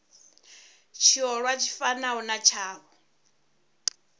tshiolwa tshi fanaho na tshavho